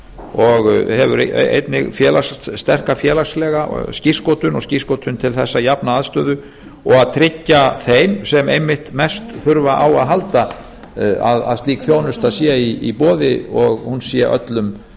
og hefur einnig sterka félagslega skírskotun og skírskotun til þess að jafna aðstöðu og að tryggja þeim sem einmitt mest þurfa á að halda að slík þjónusta sé í boði og hún sé öllum